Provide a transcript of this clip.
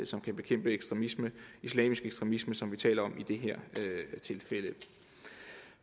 som kan bekæmpe ekstremisme islamisk ekstremisme som vi taler om i det her tilfælde